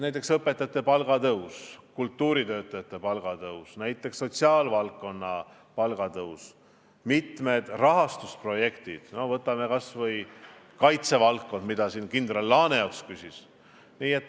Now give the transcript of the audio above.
Näiteks õpetajate palga tõstmine, kultuuritöötajate palga tõstmine, näiteks palgatõus sotsiaalvaldkonnas, mitmed rahastusprojektid – võtame kas või kaitsevaldkond, mille kohta siin kindral Laaneots küsis.